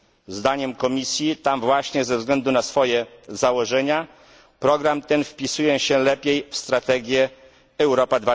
Zdaniem Komisji tam właśnie, ze względu na swoje założenia, program ten wpisuje się lepiej w strategię Europa